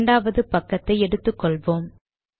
இரண்டாவது பக்கத்தை எடுத்து கொள்வோம்